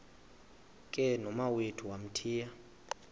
ke nomawethu wamthiya